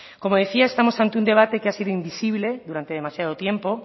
como decía estamos ante un debate que ha sido invisible durante demasiado tiempo